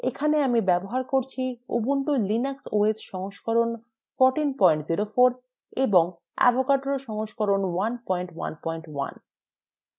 এখানে আমি ubuntu linux os সংস্করণ 1404 ব্যবহার করছি